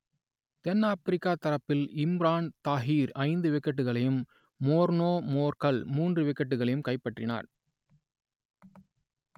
தென் Africa தரப்பில் இம்பரான் தாஹிர் ஐந்து விக்கெட்டுகளையும் மோர்னே மோர்கல் மூன்று விக்கெட்டுகளையும் கைப்பற்றினர்